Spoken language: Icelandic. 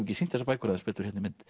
ekki sýnst þessar bækur aðeins betur í mynd